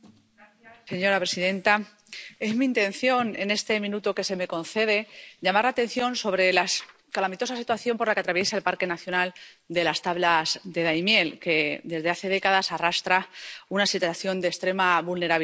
Señora presidenta, es mi intención, en este minuto que se me concede, llamar la atención sobre la calamitosa situación que atraviesa el Parque Nacional de las Tablas de Daimiel que, desde hace décadas, arrastra una situación de extrema vulnerabilidad.